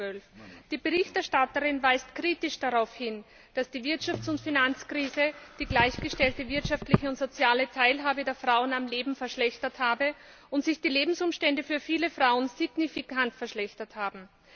2012. Die Berichterstatterin weist kritisch darauf hin, dass die Wirtschafts und Finanzkrise die gleichgestellte wirtschaftliche und soziale Teilhabe der Frauen am Leben verschlechtert hat und sich die Lebensumstände für viele Frauen signifikant verschlechtert haben.